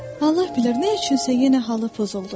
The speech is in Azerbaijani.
Allah bilər nə üçünsə yenə halı pozuldu.